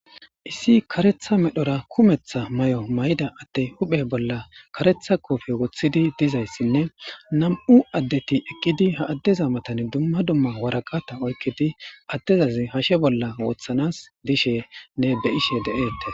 Issi kareththa medho mayo mayoda addey huphphe bolla kareththa qooppee woththidii dizayssinne nam'u addeti eqidi ha adeza matan dumma dumma waraqata oykiddi addezas hashe bolla woththans dishenne de'ishe de'ettes